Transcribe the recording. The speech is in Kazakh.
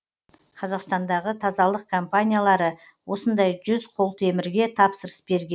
қазақстандағы тазалық компаниялары осындай жүз құлтемірге тапсырыс берген